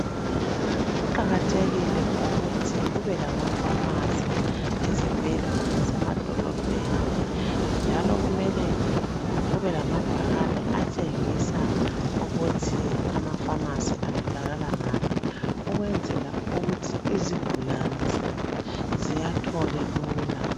Kuqakathekile ukuthi kubelamafamasi ezibhedlela lasemadolobheni njalo kumele kubelamabhakane atshengisa ukuthi amafamasi atholakala ngaphi ukwenzela ukuthi izigulane ziwathole lula.